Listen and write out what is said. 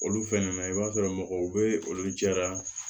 Olu fɛnɛ na i b'a sɔrɔ mɔgɔw be olu jɛra